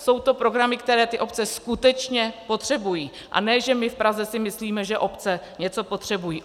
Jsou to programy, které ty obce skutečně potřebují, a ne že my v Praze si myslíme, že obce něco potřebují.